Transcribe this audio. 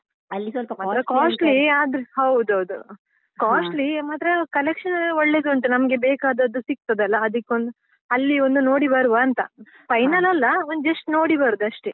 costly ಆದ್ರು ಹೌದೌದು costly ಮಾತ್ರ collection ಎಲ್ಲಾ ಒಳ್ಳೆದುಂಟು ನಮ್ಗೆ ಬೇಕಾದದ್ದು ಸಿಗ್ತದಲಾ ಅದಿಕ್ಕೊಂದು ಅಲ್ಲಿ ಒಂದು ನೋಡಿ ಬರುವಾ ಅಂತ final ಅಲ್ಲ ಒಂದ್ just ನೋಡಿ ಬರುದಷ್ಟೇ.